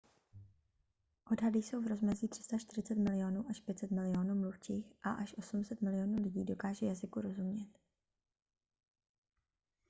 odhady jsou v rozmezí 340 milionů až 500 milionů mluvčích a až 800 milionů lidí dokáže jazyku rozumět